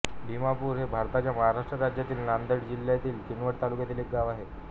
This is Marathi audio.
भिमपूर हे भारताच्या महाराष्ट्र राज्यातील नांदेड जिल्ह्यातील किनवट तालुक्यातील एक गाव आहे